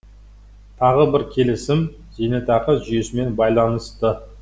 тағы бір келісім зейнетақы жүйесімен байланысты